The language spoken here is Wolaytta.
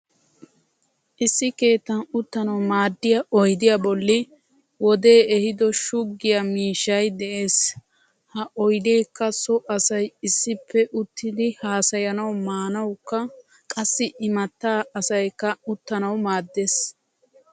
Issi keettan uttanawu maaddiya oydiya bolli hodee ehido shuggiya miishshay de'es. Ha oydeekka so asay issippe uttidi haasayanawu maanawukka qassi imatta asayikka uttanawu maaddes.